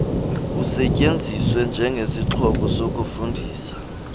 usetyenziswe njengesixhobo sokufundisa